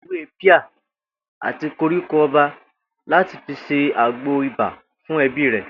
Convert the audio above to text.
Ìyá Tó̩lá já ewé píà àti koríko o̩ba láti fi se agbò ibà fún e̩bí rè̩